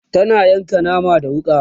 tana yanka naman da wuƙa